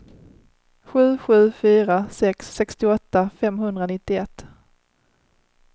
sju sju fyra sex sextioåtta femhundranittioett